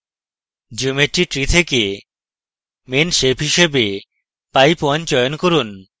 geometry tree থেকে main shape হিসাবে pipe _ 1 চয়ন করুন